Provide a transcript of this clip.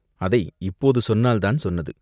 அதை இப்போது சொன்னால்தான் சொன்னது.